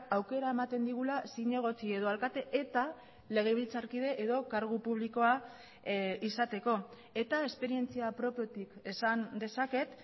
aukera ematen digula zinegotzi edo alkate eta legebiltzarkide edo kargu publikoa izateko eta esperientzia propiotik esan dezaket